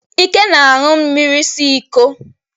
Ike na-aṅụ mmiri si iko